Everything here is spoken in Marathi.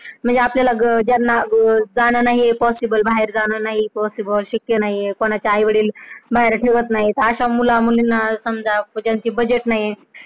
म्हणजे आपल्याला ज्यांना जाऊन येऊन करणं नाहीये possible बाहेर जाण नाही शक्य नाही, कोणाचे आई वडील बाहेर ठेवत नाही अश्या मुलं मुलींना समजा budget नाही.